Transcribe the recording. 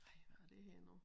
Ej hvad er det her nu